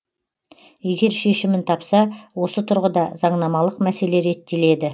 егер шешімін тапса осы тұрғыда заңнамалық мәселе реттеледі